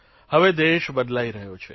હવે દેશ બદલાઇ રહ્યો છે